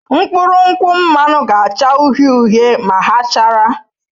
Mkpụrụ nkwụ mmanụ ga-acha uhie uhie ma ha chara.